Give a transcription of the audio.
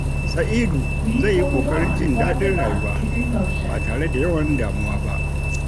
Sa’idu zai yi ƙoƙarin jin daɗin rayuwa ba tare da yawan damuwa ba.